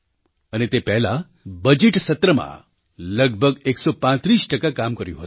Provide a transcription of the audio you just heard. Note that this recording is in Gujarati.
અને તે પહેલાં બજેટ સત્રમાં લગભગ 135 ટકા કામ કર્યું હતું